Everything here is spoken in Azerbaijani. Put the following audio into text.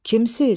Kimsiz?